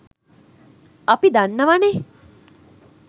අපි දන්නවනෙ